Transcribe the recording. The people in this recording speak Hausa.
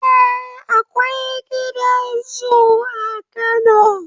Eh, Akwai gidan zoo a Kano